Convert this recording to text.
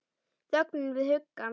Þögnina við hugann.